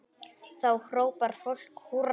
Þá hrópar fólk húrra.